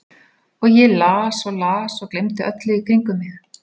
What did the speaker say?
Og ég las og las og gleymdi öllu í kringum mig.